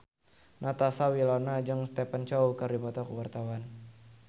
Natasha Wilona jeung Stephen Chow keur dipoto ku wartawan